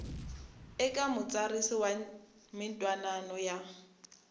eka mutsarisi wa mintwanano ya